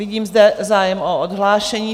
Vidím zde zájem o odhlášení.